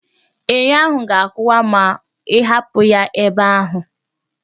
Enyo ahụ ga-akụwa ma ịhapụ ya ebe ahụ